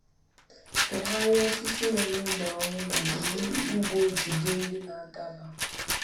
Fagharịa osisi nwere ụmụ ahụhụ ma jiri ụgbụ jide ndị na-adaba.